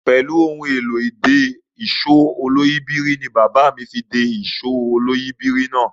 Pẹ̀lú ohun tí a fi ń de èsó olóyìíbìrí de èsó olóyìíbìrí náà.